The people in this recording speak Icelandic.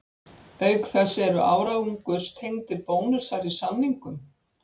Auk þess eru árangurstengdir bónusar í samningnum.